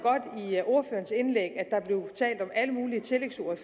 ordførerens indlæg at alle mulige tillægsord i